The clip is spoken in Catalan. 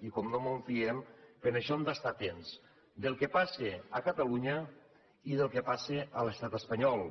i com no mos en fiem per això hem d’estar atents al que passa a catalunya i al que passa a l’estat espanyol